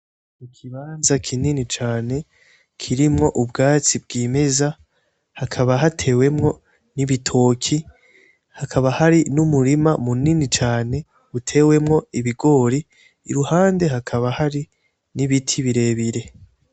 Ikibanza kinini cane kirimwo ubwatsi bwimeza, hakaba hatewemwo n'ibitoki, hakaba hari n'umurima munini cane utewemwo ibigori, iruhande hakaba hari n'ibiti birebire.